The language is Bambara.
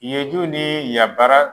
Yeju ni yabara